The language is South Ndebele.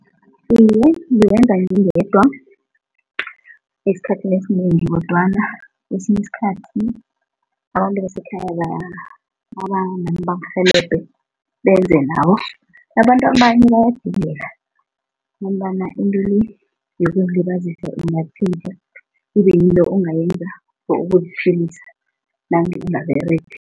Iye, ngiwenza ngingedwa esikhathini esinengi kodwana kwesinye isikhathi abantu abasekhaya babanami bangirhelebhe benze nabo, nabantu abanye bayadingeka ngombana into le yokuzilibazisa ingatjhentjha kube yinto ongayenza for ukuziphilisa nange ungaberegi.